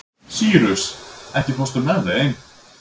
Sýrus, ekki fórstu með þeim?